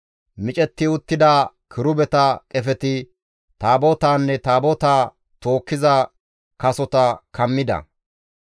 Micetti uttida kirubeta qefeti Taabotaanne Taabotaa tookkiza kasota kammida.